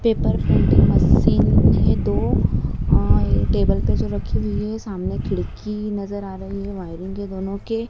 paper printing machine है दो अं टेबल पे जो रखी हुई है सामने खिड़की नजर आ रही है वायरिंग के दोनों के--